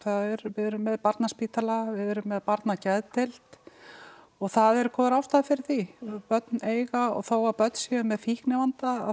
við erum með barnaspítala við erum með barnageðdeild og það eru góðar ástæður fyrir því börn eiga og þó börn séu með fíknivanda